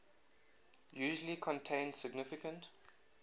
usually contain significant